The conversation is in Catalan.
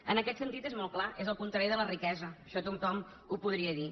en aquest sentit és molt clar és el contrari de la riquesa això tothom ho podria dir